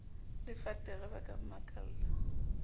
le fatere ba ka mmakalla